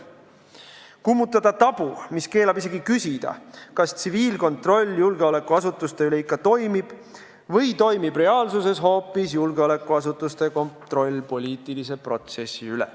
Soovime kummutada tabu, mis keelab isegi küsida, kas tsiviilkontroll julgeolekuasutuste üle ikka toimib või toimib reaalsuses hoopis julgeolekuasutuste kontroll poliitilise protsessi üle.